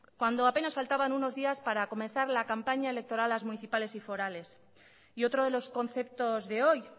cuando apenas faltaban unos días para comenzar la campaña electoral de las municipales y forales y otro de los conceptos de hoy